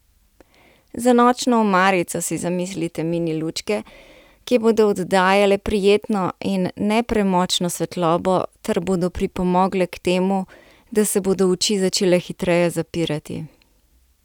Za nočno omarico si zamislite mini lučke, ki bodo oddajale prijetno in ne premočno svetlobo ter bodo pripomogle k temu, da se bodo oči začele hitreje zapirati.